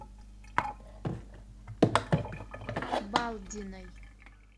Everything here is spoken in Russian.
балдиной